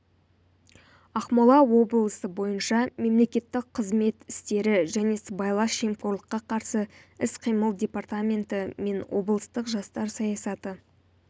ақмола облысы бойынша мемлекеттік қызмет істері және сыбайлас жемқорлыққа қарсы іс-қимыл департаменті мен облыстық жастар саясаты